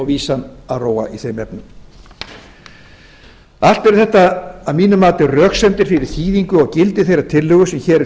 vísan að róa í þeim efnum allt eru þetta að mínu mati röksemdir fyrir þýðingu og gildi þeirrar tillögu sem hér er